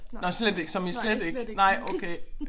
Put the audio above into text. Nåh slet ikke som i slet ikke. Nej okay